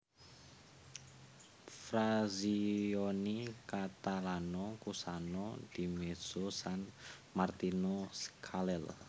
Frazioni Catalano Cusano Di Mezzo San Martino Scalelle